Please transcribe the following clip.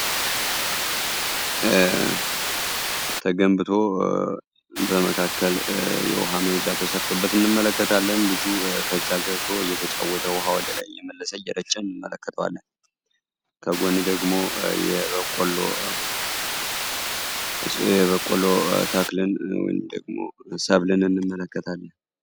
ተገንብቶ በመካከል የውሃመየጃ ተሰርቶበት እንመለከታለን። ልጁ ከዛ ገብቶ እየተጫውተ ውሃ ላይ የመለሰ እየረጨን መለከተለን ከጎን ደግሞ የበቆሎ ተክልን ወይም ደግሞ ሰብልን እንመለከታለን።